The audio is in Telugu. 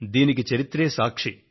దీనికి చరిత్రే సాక్షి